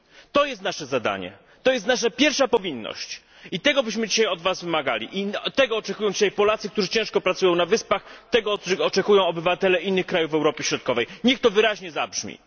To jest nasze zadanie, to jest nasza pierwsza powinność i tego dzisiaj od was wymagamy. Tego oczekują dzisiaj Polacy, którzy ciężko pracują na Wyspach, tego oczekują obywatele innych krajów Europy Środkowej. Niech to wyraźnie zabrzmi.